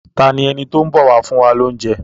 Ta ni ẹni tó ń bọ̀ wá fún wa lóúnjẹ.?